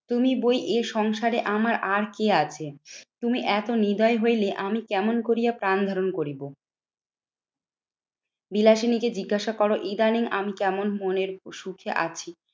তুমি বই এ সংসারে আমার আর কে আছে? তুমি এত নির্দয় হইলে আমি কেমন করিয়া প্রাণ ধারণ করিব? বিলাসিনীকে জিজ্ঞাসা করো, ইদানিং আমি কেমন মনের সুখে আছি?